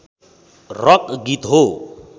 rock गीत हो